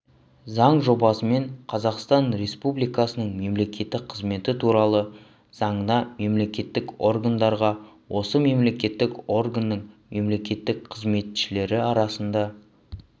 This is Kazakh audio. заң жобасымен қазақстан республикасының мемлекеттік қызметі туралы заңына мемлекеттік органдарға осы мемлекеттік органның мемлекеттік қызметшілері арасында